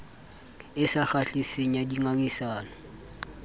e sa kgahliseng ya dingangisano